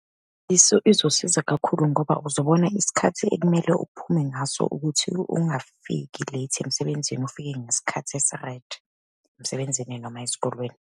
Izosiza kakhulu ngoba uzobona isikhathi ekumele uphume ngaso ukuthi ungafiki late emsebenzini, ufike ngesikhathi esi-right emsebenzini, noma esikolweni.